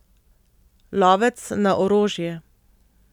Lovec na orožje.